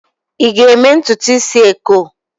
ị ga-eme ntutu isi eko?